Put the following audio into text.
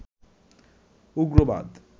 উগ্রবাদ